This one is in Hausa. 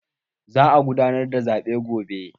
Za'a gudanar da zaɓen gobe.